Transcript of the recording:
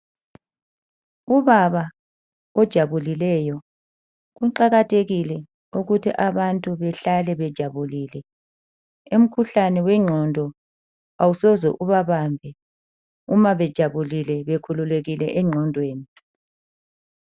Ubaba ojabulileyo kuqakathekile ukuthi abantu behlale bejabulile. Umkhuhlane wengqondo awusoze ubabambe uma bejabulile bekhululekile engqondweni.